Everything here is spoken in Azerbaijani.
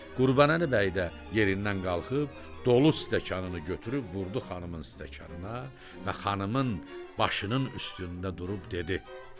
Qurbanəli bəy də yerindən qalxıb dolu stəkanını götürüb vurdu xanımın stəkanına və xanımın başının üstündə durub dedi.